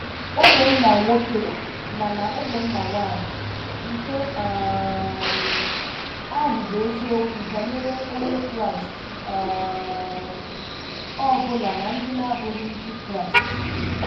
Ụmụnna nwoke na na ụmụnna nwanyị, nke um ahụ bụ eziokwu banyere Onye Kraịst um ọ bụla na ndị na-abụghị Ndị Kraịst.